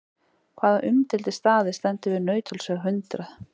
Hvaða umdeildi staður stendur við Nauthólsveg hundrað?